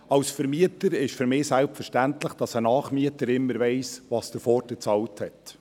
Als Vermieter ist es für mich selbstverständlich, dass ein Nachmieter immer weiss, was der Vorgänger bezahlt hat.